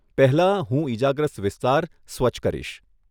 પહેલાં, હું ઈજાગ્રસ્ત વિસ્તાર સ્વચ્છ કરીશ.